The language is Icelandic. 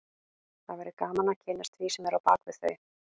Það væri gaman að kynnast því sem er á bak við þau